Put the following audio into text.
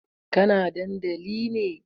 Kana dandali ne?